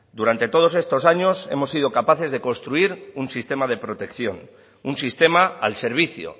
durante todos estos años hemos sido capaces de construir un sistema de protección un sistema al servicio